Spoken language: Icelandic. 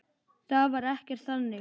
Það var ekkert þannig.